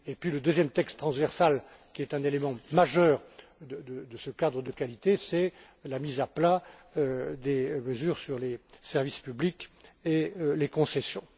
Le deuxième texte transversal, qui est un élément majeur de ce cadre de qualité, c'est la mise à plat des mesures concernant les services publics et les concessions.